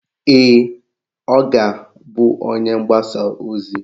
Ee, ọ ga-bụ onye mgbasa ozi